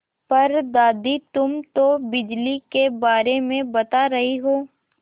पर दादी तुम तो बिजली के बारे में बता रही हो